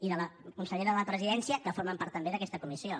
i de la consellera de la presidència que formen part també d’aquesta comissió